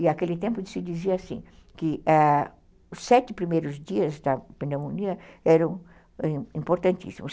E naquele tempo se dizia assim, que os sete primeiros dias da pneumonia eram importantíssimos.